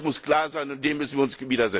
Das muss klar sein, und dem müssen wir uns